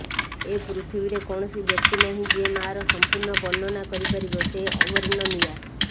ଏ ପୃଥିବୀରେ କୌଣସି ବ୍ୟକ୍ତି ନାହିଁ ଯିଏମାଆର ସଂପୂର୍ଣ୍ଣ ବର୍ଣ୍ଣନା କରିପାରିବ ସେ ଅବର୍ଣ୍ଣନୀୟା